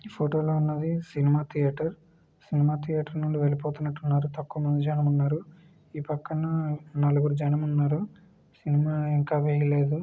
ఈ ఫోటో లో ఉన్నది సినిమా థియేటర్ సినిమా థియేటర్ నుండి వెళ్లిపోతున్నట్టున్నారు తక్కువ మంది జనం ఉన్నారు. ఈ పక్కన నలుగురు జనం ఉన్నారు. సినిమా ఇంకా వేయలేదు.